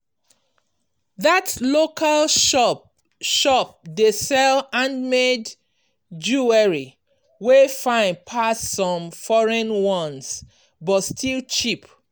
that local shop shop dey sell handmade jewelry wey fine pass some foreign ones but still cheap.